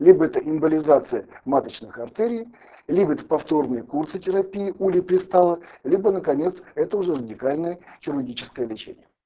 либо это эмболизация маточных артерий либо это повторные курсы терапии улипристала либо наконец это уже уникальное хирургическое лечение